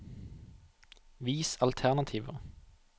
Vis alternativer